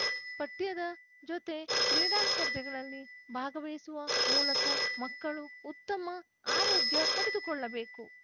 ಪಠ್ಯದ ಜೊತೆ ಕ್ರೀಡಾ ಸ್ಪರ್ಧೆಗಳಲ್ಲಿ ಭಾಗವಹಿಸುವ ಮೂಲಕ ಮಕ್ಕಳು ಉತ್ತಮ ಆರೋಗ್ಯ ಪಡೆದುಕೊಳ್ಳಬೇಕು